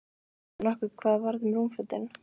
Veistu nokkuð hvað varð um rúmfötin?